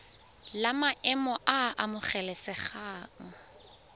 la maemo a a amogelesegang